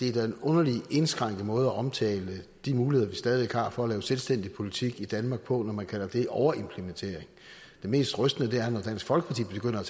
er en underlig indskrænket måde at omtale de muligheder vi stadig væk har for at lave selvstændig politik i danmark på når man kalder det overimplementering det mest rystende er når dansk folkeparti begynder